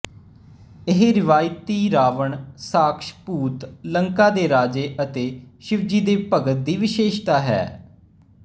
ਇਹ ਰਵਾਇਤੀ ਰਾਵਣ ਰਾਖਸ਼ ਭੂਤ ਲੰਕਾ ਦੇ ਰਾਜੇ ਅਤੇ ਸ਼ਿਵਜੀ ਦੇ ਭਗਤ ਦੀ ਵਿਸ਼ੇਸ਼ਤਾ ਹੈ